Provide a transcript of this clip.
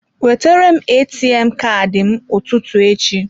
Wetere m ATM Kaadị m n'ụtụtụ echi.